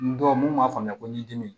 N dɔw mun b'a faamuya ko ɲindimi